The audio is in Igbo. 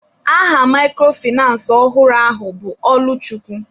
Aha microfinace ọhụrụ ahụ bụ Ọlụchukwu.